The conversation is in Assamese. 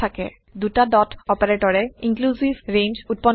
দুটা ডট অপাৰেটৰে ইনক্লুচিভ ৰেঞ্জ উত্পন্ন কৰে